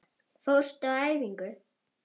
Fórstu á æfingu?